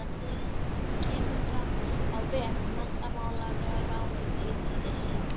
Þetta kemur fram á vef menntamálaráðuneytisins